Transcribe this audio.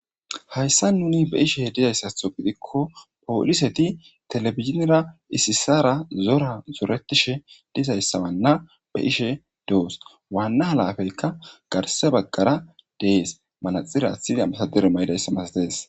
hayssa nuni be7ishe dizayssatho gidikko pooliseti telebizinera isisara zora zoretishe dizayssawanna be7ishe doos waanna halafeykka garse baggara dees malaxira aththidi ambasadire mayidayssa mastees.